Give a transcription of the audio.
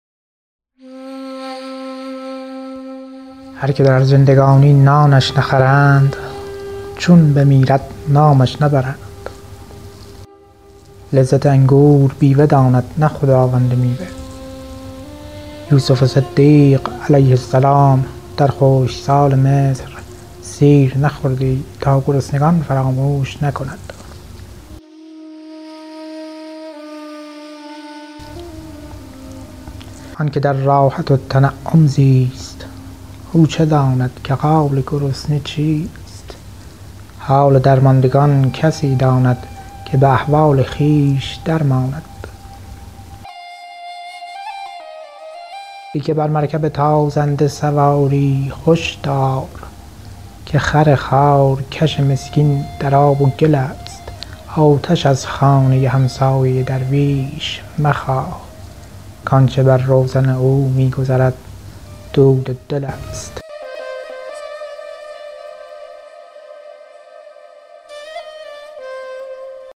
هر که در زندگانی نانش نخورند چون بمیرد نامش نبرند لذت انگور بیوه داند نه خداوند میوه یوسف صدیق علیه السلام در خشکسال مصر سیر نخوردی تا گرسنگان فراموش نکند آن که در راحت و تنعم زیست او چه داند که حال گرسنه چیست حال درماندگان کسی داند که به احوال خویش در ماند ای که بر مرکب تازنده سواری هش دار که خر خارکش مسکین در آب و گل است آتش از خانه همسایه درویش مخواه کآنچه بر روزن او می گذرد دود دل است